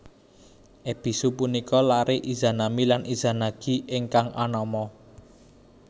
Ebisu punika lare Izanami lan Izanagi ingkang anama